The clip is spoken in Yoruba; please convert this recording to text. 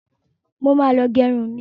Mo ma lọ gẹrun mi.